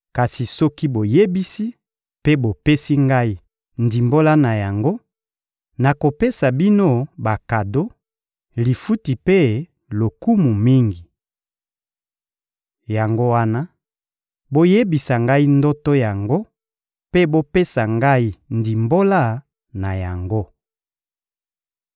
Kasi soki boyebisi mpe bopesi ngai ndimbola na yango, nakopesa bino bakado, lifuti mpe lokumu mingi. Yango wana, boyebisa ngai ndoto yango mpe bopesa ngai ndimbola na yango.»